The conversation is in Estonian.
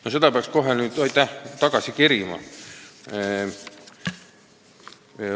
No seda peaks nüüd kohe tagasi kerima.